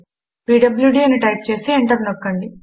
PWD అని type చేసి enter నొక్కండి